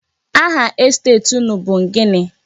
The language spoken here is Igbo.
Aha estet unu bụ gịnị?